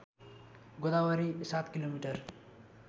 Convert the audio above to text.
Godavari ७ kilometre